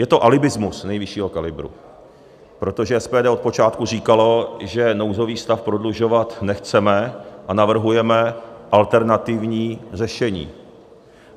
Je to alibismus nejvyššího kalibru, protože SPD od počátku říkalo, že nouzový stav prodlužovat nechceme a navrhujeme alternativní řešení.